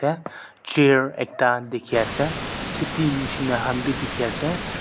chair ekta dikhiase khiti nishina han bi dikhiase--